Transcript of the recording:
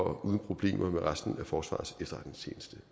og uden problemer med resten af forsvarets efterretningstjeneste